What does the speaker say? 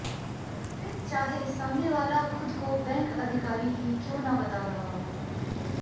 फिर चाहे सामने वाला खुद को बैंक अधिकारी ही क्यों न बता रहा हो